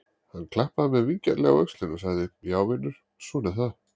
Hann klappaði mér vingjarnlega á öxlina og sagði: Já vinur, svona er það.